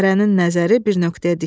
Hərənin nəzəri bir nöqtəyə dikilmişdi.